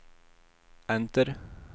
enter